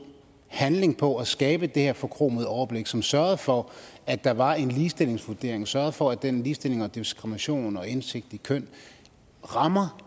handling på at skabe det her forkromede overblik og som sørgede for at der var en ligestillingsvurdering sørgede for at den ligestilling og diskrimination og indsigt i køn rammer